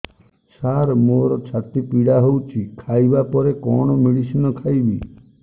ସାର ମୋର ଛାତି ପୀଡା ହଉଚି ଖାଇବା ପରେ କଣ ମେଡିସିନ ଖାଇବି